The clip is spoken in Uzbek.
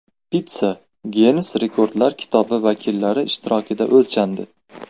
Pitssa Ginnes rekordlar kitobi vakillari ishtirokida o‘lchandi.